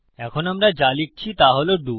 এখন আমরা যা লিখছি তা হল ডো